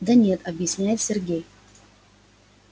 да нет объясняет сергей